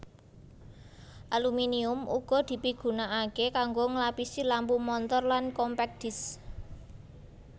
Aluminium uga dipigunakaké kanggo nglapisi lampu montor lan compact disks